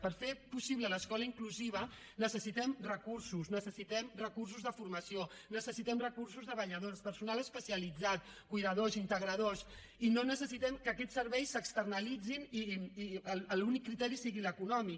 per fer possible l’escola inclusiva necessitem recursos necessitem recursos de formació necessitem recursos de vetlladors personal especialitzat cuidadors integradors i no necessitem que aquests serveis s’externalitzin i que l’únic criteri sigui l’econòmic